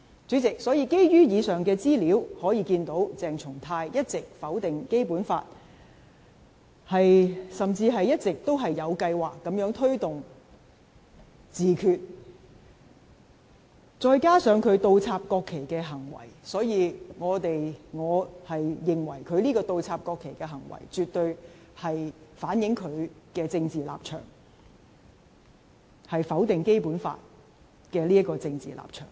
主席，從以上資料可見，鄭松泰一直否定《基本法》，甚至一直有計劃推動自決，再加上他倒插國旗的行為，所以我認為他倒插國旗的行為，絕對反映他否定《基本法》的政治立場。